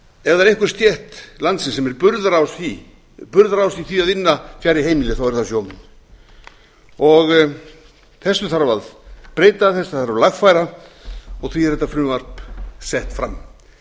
ef einhver stétt landsins sem er burðarás í því að vinna fjarri heimili þá eru það sjómenn þessu þarf að breyta þetta þarf að lagfæra og því er þetta frumvarp sett fram